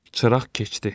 Çıraq keçdi.